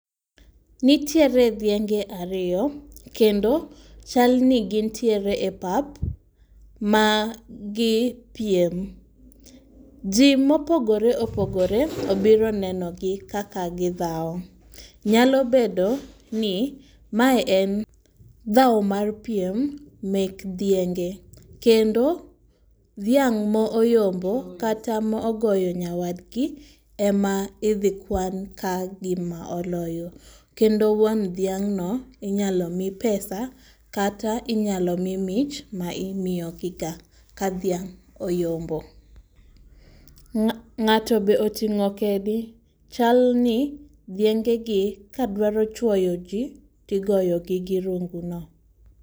Nitiere dhienge ariyo kendo chalni gintiere e pap magipiem. Jii mopogore opogore obiro nenogi kaka gi dhao. Nyalo bedoni mae en dhao mar piem mek dhienge kendo dhiang' moyombo kata ma ogoyo nyawadgi ema idhikwan ka gima oloyo kendo wuon dhiang'no inyalomii pesa kata inyalo mii mich ma imiyogiga ka dhiang' oyombo.Ng'ato be oting'o kedi chalni dhiengegi ka dwaro chuoyo jii tigoyogi gi runguno.